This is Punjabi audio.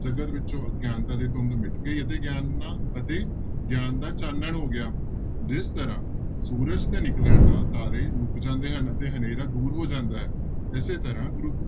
ਜਗਤ ਵਿਚੋਂ ਅਗਿਆਨਤਾ ਦੀ ਧੁੰਦ ਮਿਟ ਗਈ ਅਤੇ ਗਿਆਨ ਨਾ ਅਤੇ ਗਿਆਨ ਦਾ ਚਾਨਣ ਹੋ ਗਿਆ, ਜਿਸ ਤਰ੍ਹਾਂ ਸੂਰਜ ਦੇ ਨਿਕਲਣ ਨਾਲ ਤਾਰੇ ਲੁਕ ਜਾਂਦੇ ਹਨ ਤੇ ਹਨੇਰਾ ਦੂਰ ਹੋ ਜਾਂਦਾ ਹੈ, ਇਸੇ ਤਰ੍ਹਾਂ ਗੁਰੂ